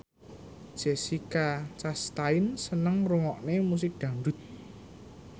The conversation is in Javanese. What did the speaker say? Jessica Chastain seneng ngrungokne musik dangdut